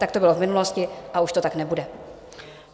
Tak to bylo v minulosti a už to tak nebude.